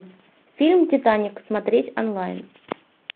фильм титаник смотреть онлайн